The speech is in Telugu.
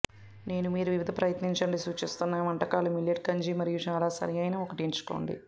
నేను మీరు వివిధ ప్రయత్నించండి సూచిస్తున్నాయి వంటకాలు మిల్లెట్ గంజి మరియు చాలా సరిఅయిన ఒకటి ఎంచుకోండి